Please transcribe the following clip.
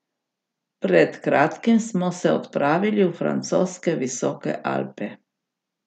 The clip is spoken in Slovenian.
Pred kratkim smo se odpravili v francoske visoke Alpe.